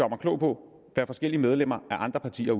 klog på hvad forskellige medlemmer af andre partier